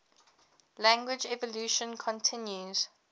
language evolution continues